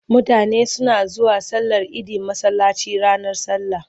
Mutane suna zuwa sallar idi masallaci ranar sallah.